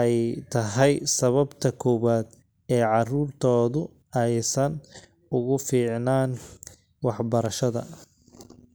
ay tahay sababta koowaad ee carruurtoodu aysan ugu fiicnaan waxbarashada.